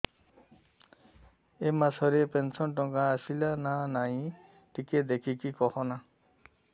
ଏ ମାସ ରେ ପେନସନ ଟଙ୍କା ଟା ଆସଲା ନା ନାଇଁ ଟିକେ ଦେଖିକି କହନା